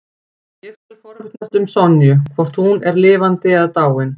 Ég skal forvitnast um Sonju, hvort hún er lifandi eða dáin.